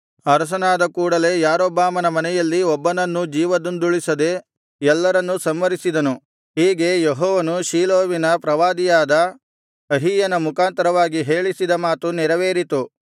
ಅರಸನಾದ ಕೂಡಲೆ ಯಾರೊಬ್ಬಾಮನ ಮನೆಯಲ್ಲಿ ಒಬ್ಬನನ್ನೂ ಜೀವದಿಂದುಳಿಸದೆ ಎಲ್ಲರನ್ನೂ ಸಂಹರಿಸಿದನು ಹೀಗೆ ಯೆಹೋವನು ಶೀಲೋವಿನ ಪ್ರವಾದಿಯಾದ ಅಹೀಯನ ಮುಖಾಂತರವಾಗಿ ಹೇಳಿಸಿದ ಮಾತು ನೆರವೇರಿತು